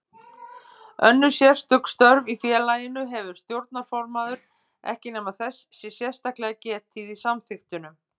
Önnur sérstök störf í félaginu hefur stjórnarformaður ekki nema þess sé sérstaklega getið í samþykktunum.